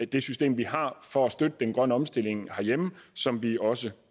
det system vi har for at støtte den grønne omstilling herhjemme som vi også